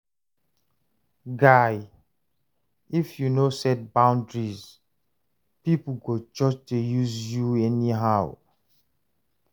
Guy, if you no set boundaries, pipo go just dey use you anyhow.